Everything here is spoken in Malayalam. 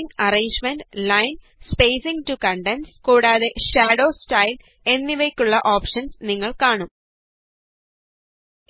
line arrangement line spacing to contents കൂടാതെ ഷാഡോ സ്റ്റൈല് എന്നിവക്കുള്ള ഓപഷന്സ് നിങ്ങള് കാണും